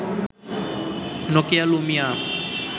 Nokia Lumia